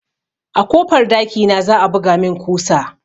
A kofar dakina za a buga min kusa